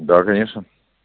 да конечно